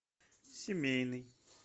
семейный